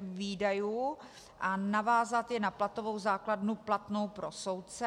výdajů, a navázat je na platovou základnu platnou pro soudce.